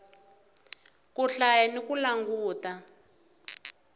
ku hlaya ni ku languta